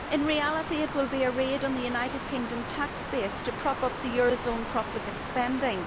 In reality it will be a raid on the United Kingdom tax base to prop up the euro zone's profligate spending.